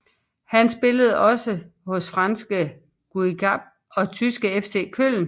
Han spillede også hos franske Guingamp og tyske FC Köln